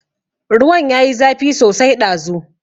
Ruwan ya yi zafi sosai ɗazu.